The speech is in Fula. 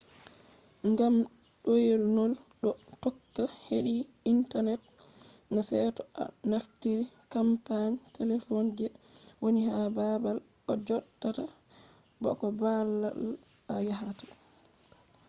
ngam ɗoynol ɗo tokka heɗi intanet na seto a naftiri kampani telefon je woni ha baabal a joɗata ba ko baabal a yahata